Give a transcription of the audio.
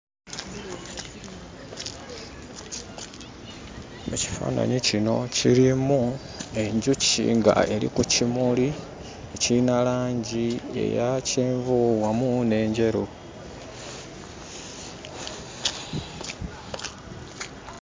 Ekifaananyi kino kirimu enjuki nga eri ku kimuli, kiyina langi eya kyenvu wamu n'enjeru.